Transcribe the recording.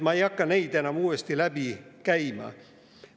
Ma ei hakka neid enam uuesti läbi käima.